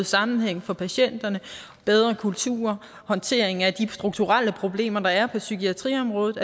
sammenhæng for patienterne bedre kulturer håndtering af de strukturelle problemer der er på psykiatriområdet